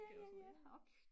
ja ja ja ork